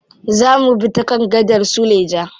Za mubi ta kan gadar suleja.